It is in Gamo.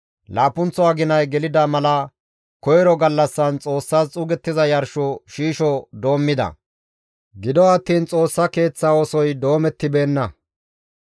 Laappunththo aginay gelida mala koyro gallassan Xoossas xuugettiza yarsho shiisho doommida; gido attiin Xoossa Keeththa oosoy doomettibeenna.